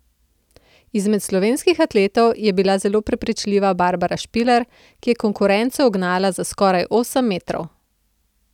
Izmed slovenskih atletov je bila zelo prepričljiva Barbara Špiler, ki je konkurenco ugnala za skoraj osem metrov.